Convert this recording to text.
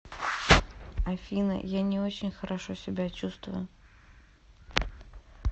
афина я не очень хорошо себя чувствую